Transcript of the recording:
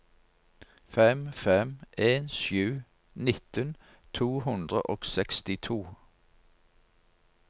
fem fem en sju nitten to hundre og sekstito